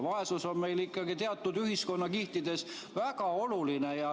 Vaesus on meil ikkagi teatud ühiskonnakihtides väga oluline.